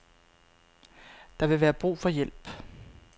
Der vil være brug for hjælp.